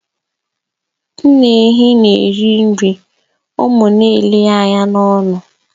Nne ehi na eri nri, ụmụ ya n'ele ya anya n'ọnụ.